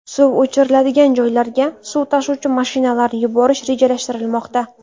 Suv o‘chiriladigan joylarga suv tashuvchi mashinalarni yuborish rejalashtirilmoqda.